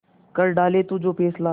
कर डाले तू जो फैसला